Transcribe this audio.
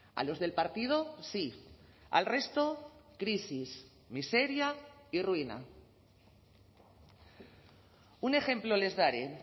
a los del partido sí al resto crisis miseria y ruina un ejemplo les daré